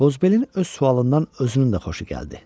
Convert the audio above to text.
Qozbelin öz sualından özünün də xoşu gəldi.